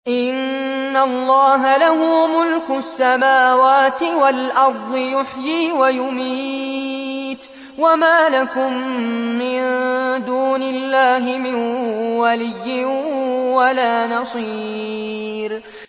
إِنَّ اللَّهَ لَهُ مُلْكُ السَّمَاوَاتِ وَالْأَرْضِ ۖ يُحْيِي وَيُمِيتُ ۚ وَمَا لَكُم مِّن دُونِ اللَّهِ مِن وَلِيٍّ وَلَا نَصِيرٍ